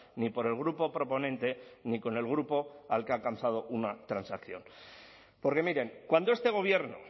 ni por el grupo proponente ni con el grupo al que ha alcanzado una transacción porque miren cuando este gobierno